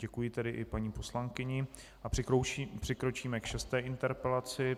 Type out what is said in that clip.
Děkuji tedy i paní poslankyni a přikročíme k šesté interpelaci.